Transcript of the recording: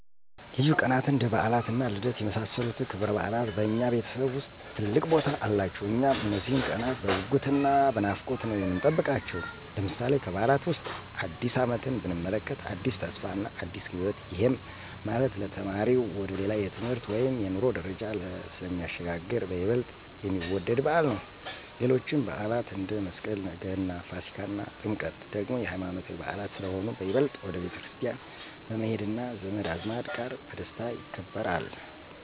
ልዩ ቀናትን እንደ በዓላት እና ልደት የመሳሰሉት ክብረበዓላት በእኛ ቤተሰብ ውስጥ ትልቅ ቦታ አላቸው። እኛም እነዚህን ቀናት በጉጉት እና በናፍቆት ነው የምንጠብቃቸው። ለምሳሌ፦ ከበዓላት ዉስጥ አዲስ አመትን ብንመለከት አዲስ ተስፋ እና አዲስ ህይወትን፤ ይሄም ማለት ለተማሪው ወደ ሌላ የትምህርት ወይም የኑሮ ደረጃ ስለሚሸጋገር በይበልጥ የሚወደድ በዓል ነው። ሌሎችም በዓላት አንደ፦ መስቀል፣ ገና፣ ፋሲካ እና ጥምቀት ደግሞ የሃይማኖታዊ በዓላት ስለሆኑ በይበልጥ ወደ ቤተክርስቲያን በመሄድ እና ዘመድ አዝማድ ጋር በደስታ ይከበራል።